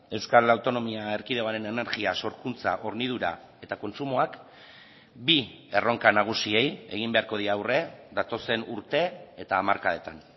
euskal autonomia erkidegoaren energia sorkuntza hornidura eta kontsumoak bi erronka nagusiei egin beharko die aurre datozen urte eta hamarkadetan